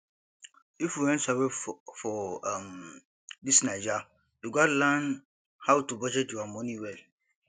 if you wan survive for um dis naija you gats learn how to budget your moni well